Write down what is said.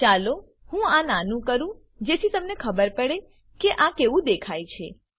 ચાલો હું આ નાનું કરું જેથી તમને ખબર પડે કે આ કેવું દેખાય છે